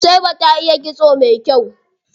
Nusaiba ta iya kitso mai kyau.